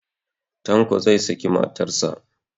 Tanko zai saki matarsa.